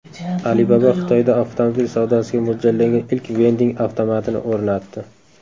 Alibaba Xitoyda avtomobil savdosiga mo‘ljallangan ilk vending avtomatini o‘rnatdi.